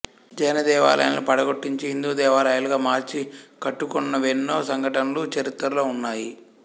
జైనదేవాలయాలను పడగొట్టించి హిందూదేవాలయాలుగా మార్చి కట్టుకొన్నవెన్నో సంఘటనలు చరిత్రలో ఉన్నాయి